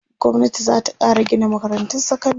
gwamnati zata Kara Gina makarantun sekandari